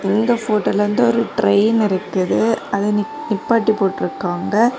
இந்த ஃபோட்டோல வந்து ஒரு ட்ரெயின் இருக்குது அத நிப்பாட்டி போட்டிருக்காங்க.